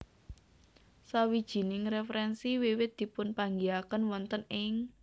Sawijining referensi wiwit dipunpanggihaken wonten ing